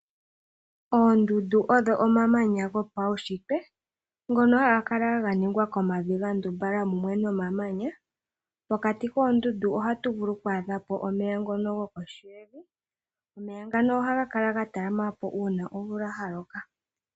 Oondundu odho omamanya gopaushitwe ngono haga kala ganingwa komavi gandumbala mumwe nomamanya. Pokati koondundu ohatu vulu okwaadha po omeya. Omeya ngano ohaga kala gatala ma po uuna omvula yaloka.